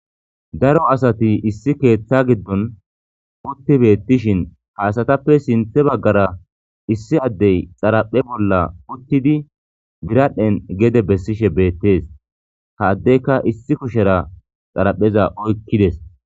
Daro asati issi keeththa giddon utti beettishin haasatappe sinthe baggara issi addey xaraphe bolla uttidi biradhdhen gede bessishe beettees ha addeyka issi kushera xarapheza oykkides.